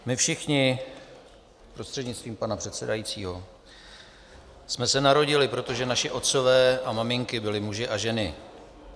My všichni prostřednictvím pana předsedajícího jsme se narodili, protože naši otcové a maminky byli muži a ženy.